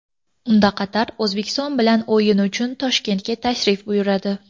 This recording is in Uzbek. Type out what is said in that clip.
Unda Qatar O‘zbekiston bilan o‘yin uchun Toshkentga tashrif buyuradi.